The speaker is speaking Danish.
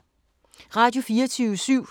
Radio24syv